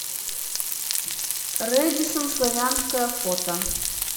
рэдиссон славянская фото